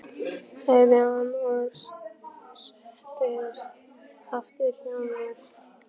sagði hann og settist aftur hjá mér.